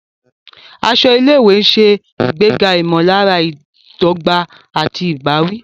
Aṣọ ilé-ìwé ń ṣe ìgbéga ìmọ̀lára ìdọ́gba àti ìbáwí.